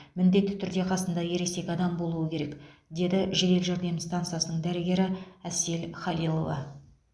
міндетті түрде қасында ересек адам болуы керек деді жедел жәрдем стансасының дәрігері әсел халилова